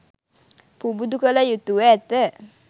පුබුදු කළ යුතුව ඇත.